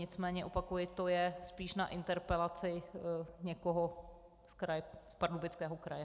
Nicméně opakuji, to je spíš na interpelaci někoho z Pardubického kraje.